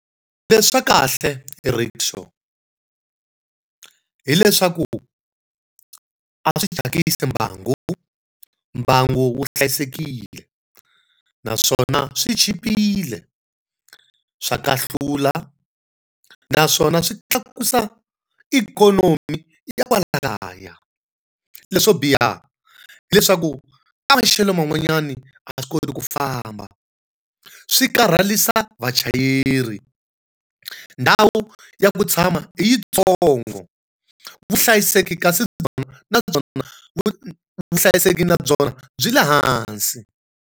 Leswa kahle hi rikshaw hileswaku a swi chakisi mbangu. Mbangu wu hlayisekile, naswona swi chipile, swa kahlula naswona swi tlakusa ikhonomi ya kwala kaya. Leswo biha hileswaku ka maxelo van'wanyani a swi koti ku famba, swi karharisa vachayeri, ndhawu ya ku tshama i yitsongo, vuhlayiseki kasi byona na byona vuhlayiseki na byona byi le hansi.